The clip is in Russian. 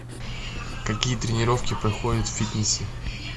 какие тренировки проходят в фитнесе